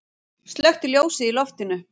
Slökkti ljósið í loftinu.